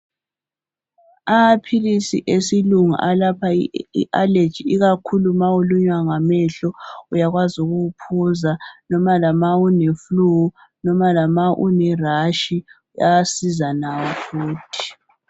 Amaphilisi esilunga alapha ialeji ikakhulu nxa ulunywa ngamehlo, uyawazi ukuwunatha, loba uleflu, ulerashi, ayasiza lawo futhi.